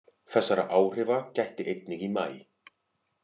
Þessara áhrifa gætti einnig í maí